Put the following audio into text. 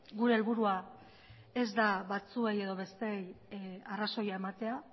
gure helburua ez da batzuei edo besteei arrazoia ematea